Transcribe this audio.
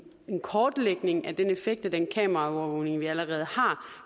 kortlægning af den effekt af den kameraovervågning vi allerede har